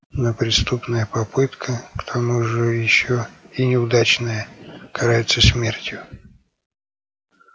но преступная попытка к тому же ещё и неудачная карается смертью